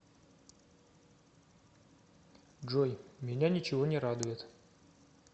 джой меня ничего не радует